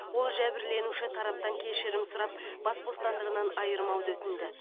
ол жәбірленуші тараптан кешірім сұрап бас бостандығынан айырмауды өтінді